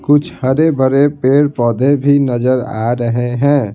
कुछ हरे भरे पेड़-पौधे भी नजर आ रहे है।